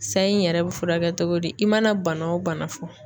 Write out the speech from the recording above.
Sayi n yɛrɛ bɛ furakɛ togo di i mana bana o bana fɔ.